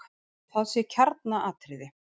Það sé kjarnaatriði.